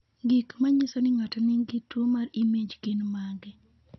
Gik manyiso ni ng'ato nigi tuwo mar IMAGe gin mage?